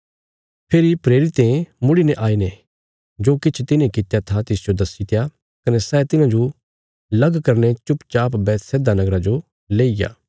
फेरी प्रेरिते मुड़ीने आईने जो किछ तिन्हें कित्या था तिसजो दस्सीत्या कने सै तिन्हांजो अलग करीने चुपचाप बैतसैदा नगरा जो लेईग्या